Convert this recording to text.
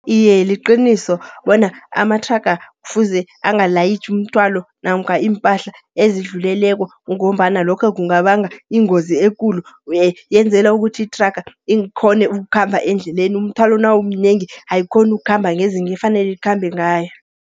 Iye, liqiniso bona amathraga kufuze angalayitjhi umthwalo, namkha iimpahla ezidluleleko. Kungombana lokho kungabanga ingozi ekulu, yenzela ukuthi ithraga ikghone ukukhamba endleleni. Umthwalo nawumnengi ayikghoni ukhamba ngezinge efanele ikhambe ngayo.